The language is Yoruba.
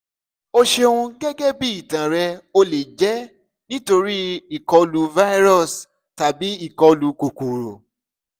o ṣeun gẹ́gẹ́ bí ìtàn rẹ ó lè jẹ́ nítorí ìkọlù virus tàbí ìkọlù kòkòrò